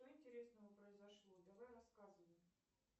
что интересного произошло давай рассказывай